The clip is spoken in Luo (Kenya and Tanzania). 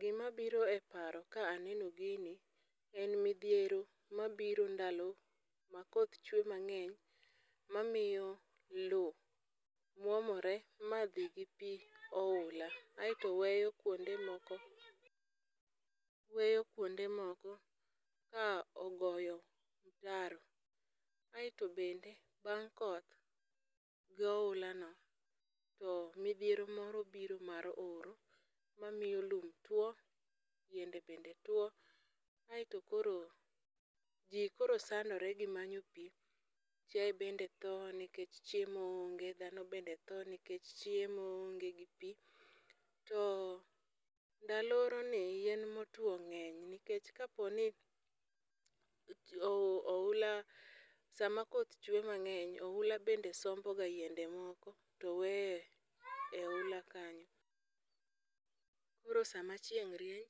Gimabiro e paro ka aneno gini en midhiero mabiro ndalo ma koth chwe mang'eny mamiyo lowo mwomore ma dhi gi pi ohula, aeto weyo kwonde moko ka ogoyo mtaro, aeto bende bang' koth, pi ohulano. To midhiero moro biro mar oro mamiyo lum tuwo, yiende bende tuwo ,aeto koro ji koro sandore gimanyo ji, chiaye bende tho nikech chiemo onge, dhano bende tho nikech chiemo onge gi pi, to ndalo oroni yien motuwo ng'eny nikech kaponi ohula, sama koth chwe mang'eny, ohula be somboga yiende mang'eny to weyo e ohula kanyo, koro sama chieng' rieny,